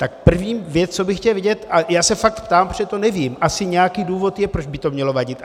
Tak první věc, co bych chtěl vědět, a já se fakt ptám, protože to nevím, asi nějaký důvod je, proč by to mělo vadit.